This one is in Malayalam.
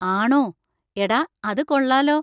ആണോ! എടാ അത് കൊള്ളാലോ.